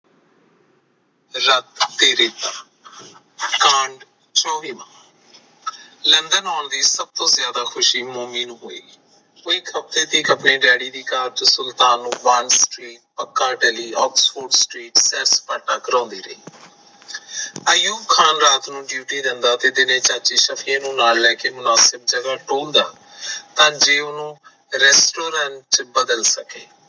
ਆਯੂਬ ਖਾਨ ਰਾਤ ਨੂੰ ਡਿਊਟੀ ਰਹਿੰਦਾ ਤੇ ਚਾਚੇ ਨਫੀ ਨਾਲ ਲੈ ਕੇ ਮੁਾਨਸਿਬ ਨੂੰ ਟੋਲਦਾ ਤਾਂ ਜਿਉ ਨੂੰ restaurant ਚ ਬਦਲ ਸਕੇ